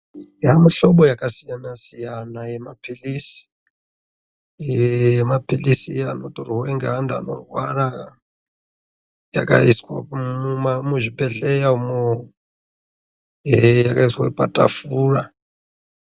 Yamuhlobo yakasiyana siyana yemapirizi yemapirizi eanotorwa ngeantu anorwara yakaiswa muzvibhedhleya umo yakaiswa patafura.